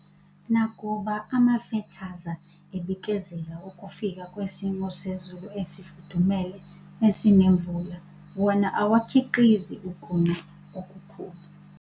Nakuba amafethaza ebikezela ukufika kwesimo sezulu esifudumele, esinemvula, wona awakhiqizi ukuna okukhulu.